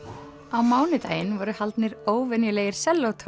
á mánudaginn voru haldnir óvenjulegir